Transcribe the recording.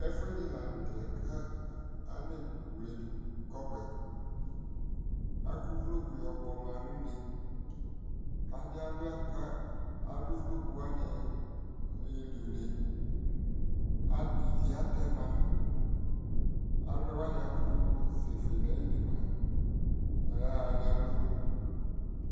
ɛƒʋɛdi lantɛ kʋ anɛ wlɛdu kɔbuɛ, akʋ ʋvlɔkʋ yɔ kpɔma nʋ ʋnɛ kʋ adi awlia kʋ alʋ ʋvlɔkʋ wani yɔli ʋnɛ, ivli atɛma alʋ wani akʋtʋ sɛ fʋɛ nʋ ayili mʋa aya nʋ alɔnʋ